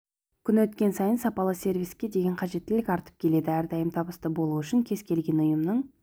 күн өткен сайын сапалы сервиске деген қажеттілік артып келеді әрдайым табысты болу үшін кез келген ұйымның